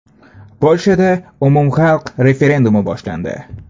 Polshada umumxalq referendumi boshlandi.